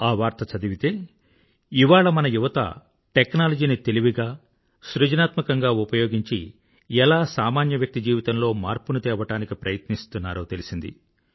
లోపల చదివితే ఇవాళ మన యువత టెక్నాలజీని తెలివిగా సృజనాత్మకంగా ఉపయోగించి ఎలా సామాన్య వ్యక్తి జీవితంలో మార్పుని తేవడానికి ప్రయత్నిస్తున్నారో తెలిసింది